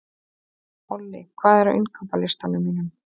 Olli, hvað er á innkaupalistanum mínum?